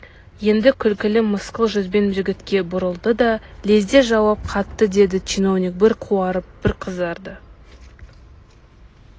енді күлкілі мысқыл жүзбен жігітке бұрылды да лезде жауап қатты деді чиновник бір қуарып бір қызарды